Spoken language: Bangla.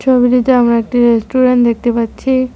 ছবিটিতে আমি একটি রেস্টুরেন্ট দেখতে পাচ্ছি।